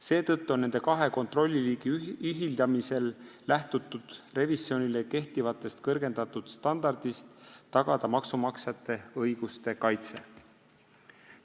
Seetõttu on nende kahe kontrolliliigi ühildamisel lähtutud revisjonile kehtivast kõrgendatud standardist tagada maksumaksjate õiguste kaitse.